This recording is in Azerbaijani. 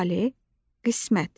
Taleh, qismət.